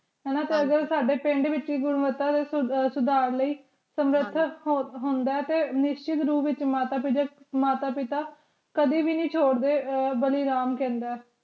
ਹਾਨਾ ਤੇ ਅਜੇ ਕਲ ਸਾਡੇ ਪਿੰਡ ਵਿਚ ਸੁਧਾਰ ਲੈ ਤੇ ਨਿਸਚਤ ਰੂਪ ਵਿਚ ਮਾਤਾ ਪਿਤਾ ਕਦੀ ਵੀ ਨਾਈ ਚੋਰ੍ਡੇ ਬਾਲੀ ਰਾਮ ਕਹੰਦਾ